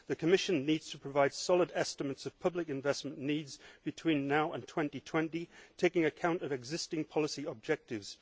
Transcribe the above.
The Commission needs to provide solid estimates of public investment needs between now and 2020, taking account of existing policy objectives.